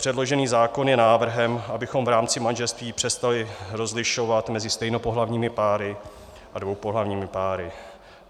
Předložený zákon je návrhem, abychom v rámci manželství přestali rozlišovat mezi stejnopohlavními páry a dvoupohlavními páry.